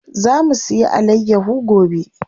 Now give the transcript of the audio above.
Za mu siya alayyaho gobe.